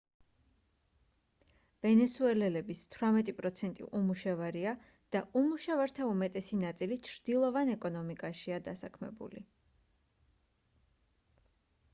ვენესუელელების 18% უმუშევარია და უმუშევართა უმეტესი ნაწილი ჩრდილოვან ეკონომიკაშია დასაქმებული